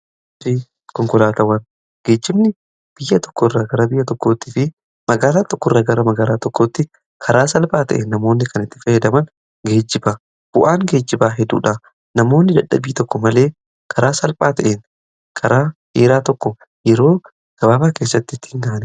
konkolaatawwan geejibni biyya tokko irraa gara biyya tokkootti fi magaalaa tokko irraa gara magaaraa tokkootti karaa salphaa ta'en namoonni kan itti feedaman geejiba bu'aan geejjibaa heduudha namoonni jadhabii tokko malee karaa salphaa ta'een karaa heeraa tokko yeroo gabaabaa keessatti tti hin aane